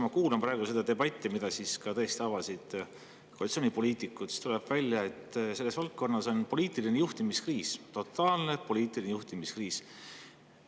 Ma kuulan praegu seda debatti, milles tõesti ka koalitsioonipoliitikud, ja tuleb välja, et julgeoleku valdkonnas on poliitilise juhtimise kriis, totaalne poliitilise juhtimise kriis.